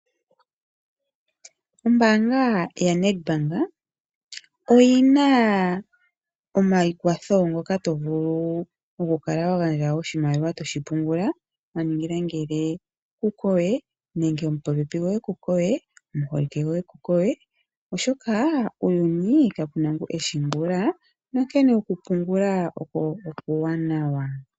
Ombanga ya Nedbank oyina omaikwatho ngoka to vulu okukala wagandja oshimaliwa toshi pungula waningila ngele kukowe nenge omupopepi goye kekowe ,omuholike goye kekowe oshoka uuyuni kapena ngoka eshi ongula onkene oku pungula oko okuwanawa.